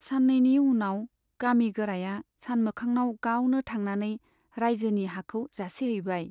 सान्नैनि उनाव गामि गोराया सानमोखांनाव गावनो थांनानै राइजोनि हाखौ जासिहैबाय।